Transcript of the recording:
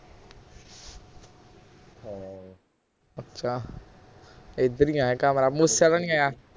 ਅੱਛਾ ਇਧਰ ਹੀ ਆਇਆ ਤਾਂ ਨਹੀਂ ਆਇਆ